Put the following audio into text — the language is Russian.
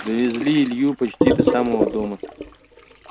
довезли илью почти до самого дома